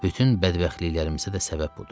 Bütün bədbəxtliklərimizə də səbəb budur.